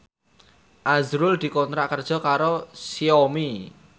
azrul dikontrak kerja karo Xiaomi